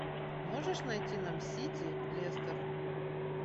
можешь найти нам сити лестер